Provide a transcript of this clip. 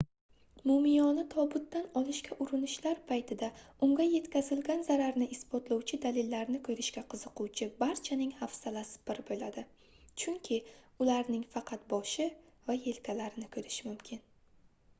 mumiyoni tobutdan olishga urinishlar paytida unga yetkazilgan zararni isbotlovchi dalillarni koʻrishga qiziquvchi barchaning hafsalasi pir boʻladi chunki ularning faqat boshi va yelkalarini koʻrish mumkin